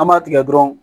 An b'a tigɛ dɔrɔn